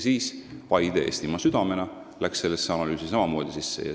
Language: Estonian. Nii et Paide Eestimaa südamena läks sellesse analüüsi sisse.